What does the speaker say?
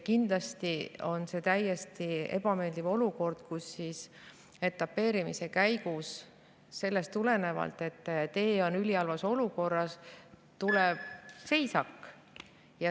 Kindlasti on see täiesti ebameeldiv olukord, kus etapeerimise käigus selle tõttu, et tee on ülihalvas olukorras, tuleb seisak.